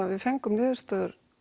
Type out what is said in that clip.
við fengum niðurstöður